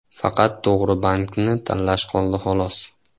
Faqat to‘g‘ri bankni tanlash qoldi, xolos.